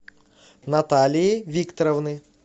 наталии викторовны